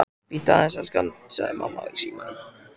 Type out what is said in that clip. Bíddu aðeins, elskan, sagði mamma í símann.